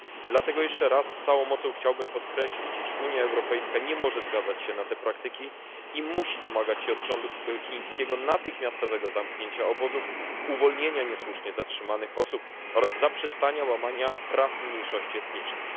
Dlatego jeszcze raz z całą mocą chciałbym podkreślić, iż Unia Europejska nie może zgadzać się na te praktyki i musi domagać się od rządu chińskiego natychmiastowego zamknięcia obozów, uwolnienia niesłusznie zatrzymanych osób oraz zaprzestania łamania praw mniejszości etnicznych.